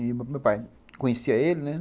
E meu pai, conhecia ele, né?